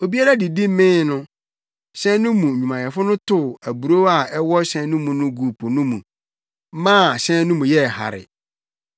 Obiara didi mee no, hyɛn no mu nnwumayɛfo no tow aburow a ɛwɔ hyɛn no mu no guu po no mu maa hyɛn no mu yɛɛ hare.